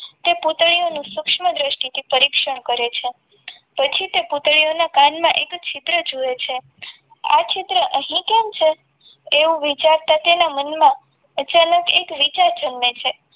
તે પૂતળીઓનું સૂક્ષ્મ દ્રષ્ટિથી પરીક્ષણ કરે છે પછી તે પૂતળીઓના કાનમાં એક છિદ્ર જોવે છે આ ચિત્ર અહીં કેમ છે એવું વિચારતા તેના મનમાં અચાનક એક વિચાર જન્મે છે.